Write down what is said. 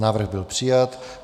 Návrh byl přijat.